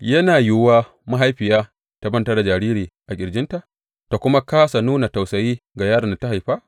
Yana yiwuwa mahaifiya ta manta da jariri a ƙirjinta ta kuma kāsa nuna tausayi ga yaron da ta haifa?